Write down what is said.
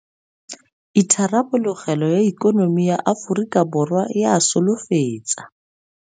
Itharabologelo ya ikonomi ya Aforika Borwa e a solofetsa.